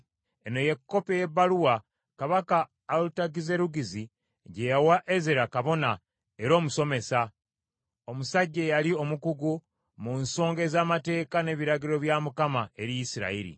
Eno ye kopi ey’ebbaluwa kabaka Alutagizerugizi gye yawa Ezera kabona era omusomesa, omusajja eyali omukugu mu nsonga ez’amateeka n’ebiragiro bya Mukama eri Isirayiri.